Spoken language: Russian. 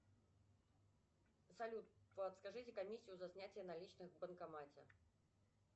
салют подскажите комиссию за снятие наличных в банкомате